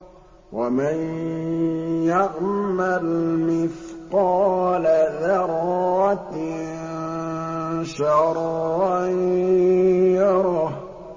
وَمَن يَعْمَلْ مِثْقَالَ ذَرَّةٍ شَرًّا يَرَهُ